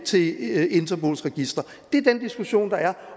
til interpols register det er den diskussion der er